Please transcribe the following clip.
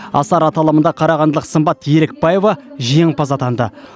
асар аталымында қарағандылық сымбат елікбаева жеңімпаз атанды